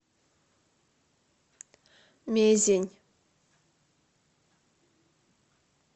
мезень